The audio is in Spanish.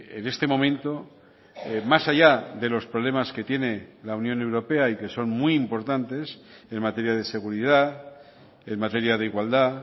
en este momento más allá de los problemas que tiene la unión europea y que son muy importantes en materia de seguridad en materia de igualdad